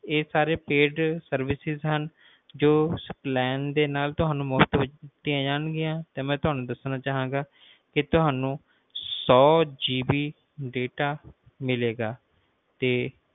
ਇਹ ਸਾਰੇ paidservices ਹਨ ਜੋ plan ਦੇ ਨਾਲ ਤੁਹਾਨੂੰ ਮੁਫ਼ਤ ਵਿਚ ਦਿੱਤੀਆਂ ਜਾਣਗੀਆਂ ਤੇ ਮੈਂ ਤੁਹਾਨੂੰ ਦੱਸਣਾ ਚਾਹਾਂਗਾ ਕਿ ਤੁਹਾਨੂੰ hundredGBData ਮਿਲੇਗਾ